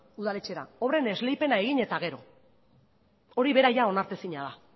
udaletxera obren esleipena egin eta gero hori bera onartu ezina da